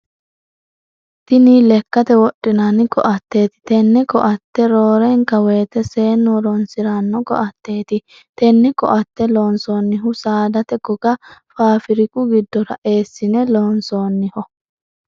Tini lekate wodhinnanni koateeti tene koate roornka woyite seenu horoonsirano koateeti tenne koate loonsoonihu saadate goga faafiriku gidora eesine loonsoonniho.